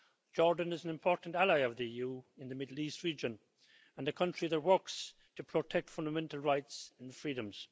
Jordan is an important ally of the EU in the Middle East region and a country that works to protect fundamental rights and freedoms.